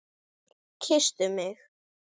Kysstu mig!